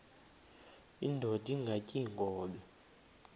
indod ingaty iinkobe